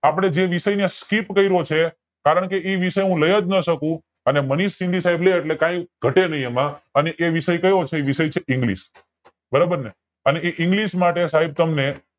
આપડે જે વિષય ને skip કર્યો છે કારણકે એ વિષય હું અને મનિશ સર લે એટલે કય ઘટે નય એમાં અને એ વિષય કયો છે english બરોબર ને અને એ english સાઇબ તમને